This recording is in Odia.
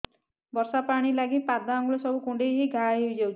ବର୍ଷା ପାଣି ଲାଗି ପାଦ ଅଙ୍ଗୁଳି ସବୁ କୁଣ୍ଡେଇ ହେଇ ଘା ହୋଇଯାଉଛି